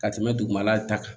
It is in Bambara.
Ka tɛmɛ dugumala ta kan